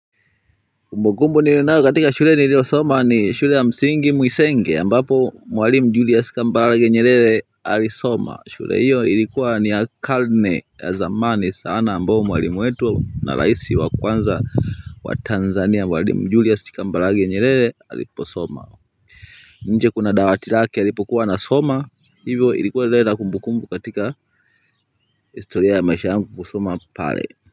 Kumbukumbu nilio nayo katika shule nilio soma ni shule ya msingi mwisenge ambapo mwalimu julias kambarage nyelele alisoma shule hiyo ilikuwa ni ya kalne ya zamani sana ambao mwalimu wetu na raisi wa kwanza wa tanzania mwalimu julias kambarage nyelele alipo soma nje kuna dawati lake alipokuwa anasoma hivyo ilikuwa inaleta kumbukumbu katika historia ya maisha yangu kusoma pale.